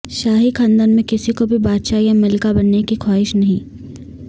شاہی خاندان میں کسی کو بھی بادشاہ یا ملکہ بننے کی خواہش نہیں